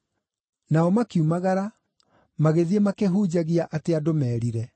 Nao makiumagara magĩthiĩ makĩhunjagia atĩ andũ merire.